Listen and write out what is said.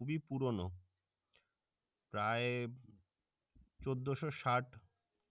খুবই পুরনো প্রায় চোদ্দশো ষাট